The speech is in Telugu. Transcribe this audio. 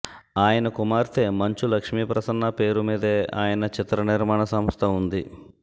ఆయన కుమార్తె మంచు లక్ష్మీప్రసన్న పేరు మీదే ఆయన చిత్రనిర్మాణ సంస్థ ఉంది